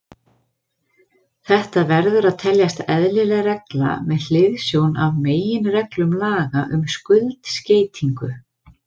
Þetta verður að teljast eðlileg regla með hliðsjón af meginreglum laga um skuldskeytingu.